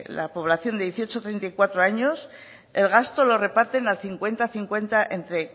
la población de dieciocho y treinta y cuatro años el gasto lo reparten al cincuenta cincuenta entre